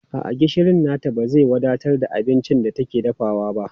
A'a, gishirin nata ba zai wadatar da abincin da take dafawa ba.